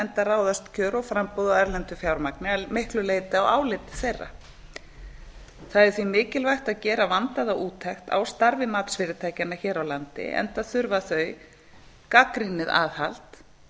enda ráðast kjör og framboð á erlendu fjármagni að miklu leyti af áliti þeirra það er því mikilvægt að gera vandaða úttekt á starfi matsfyrirtækjanna hér á landi enda þurfa þau gagnrýnið aðhald